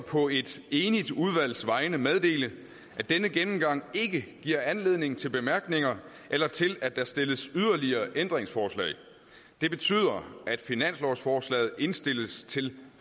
på et enigt udvalgs vegne meddele at denne gennemgang ikke har givet anledning til bemærkninger eller til at der stilles yderligere ændringsforslag det betyder at finanslovsforslaget indstilles til